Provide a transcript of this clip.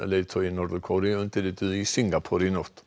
leiðtogi Norður Kóreu undirrituðu í Singapúr í nótt